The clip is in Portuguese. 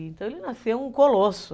Então ele nasceu um colosso.